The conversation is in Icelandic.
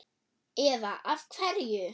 Eva: Af hverju?